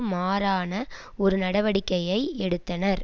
மாறான ஒரு நடவடிக்கையை எடுத்தனர்